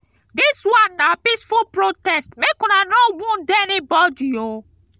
dis one na peaceful protest make una no wound anybodi oo.